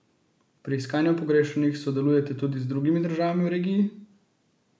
Pri iskanju pogrešanih sodelujete tudi z drugimi državami v regiji?